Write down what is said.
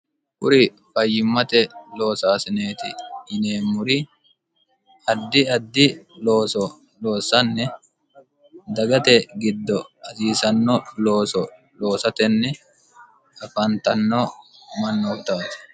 Kuri fayyimmate loosaasineeti yineemmori addi addi looso loossanni dagate giddo hasiisanno looso loosatenni afaantanno mannootaati.